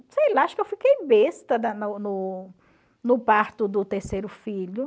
sei lá, acho que eu fiquei besta no no no parto do terceiro filho.